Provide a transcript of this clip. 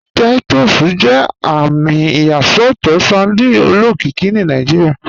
Titus jẹ àmì ìyàsọtọ sardine olókìkí ni Nàìjíríà.